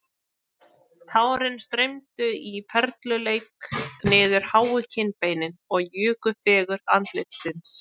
Tárin streymdu í perluleik niður háu kinnbeinin og juku fegurð andlitsins